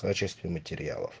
качестве материалов